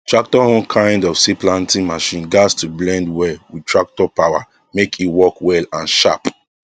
tractor own kind of seed planting machine gas to blend well with tractor power make e work well and sharp